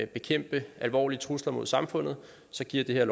bekæmpe alvorlige trusler mod samfundet og så giver det her